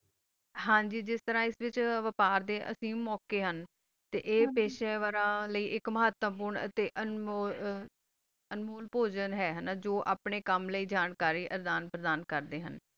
ਹਨ ਜੀ ਜਿਸ ਤਾਰਾ ਬਪਾਰ ਦਾ ਅਸੀਂ ਬੋਕਾ ਹਨ ਆ ਪਾਸ਼ਾ ਵਾਰ ਲੀ ਏਕ ਮਾਤਮ ਹੋਣਾ ਆ ਅਨਮੋਲ ਆ ਅਨੁਪੋਜਾਂ ਹ ਆਪਣਾ ਕਾਮ ਲੀ ਪੋਜਾਂ ਤਾ ਜਾਨ ਪ੍ਰਦਾਨ ਕਰਦਾ ਆ